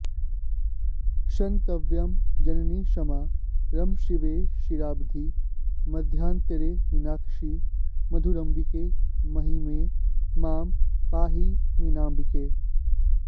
क्षन्तव्यं जननि क्षमा रम शिवे क्षीराब्धि मध्यान्तरे मीनाक्षि मधुराम्बिके महिमये मां पाहि मीनाम्बिके